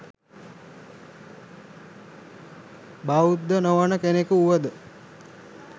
බෞද්ධ නොවන කෙනෙකු වුවද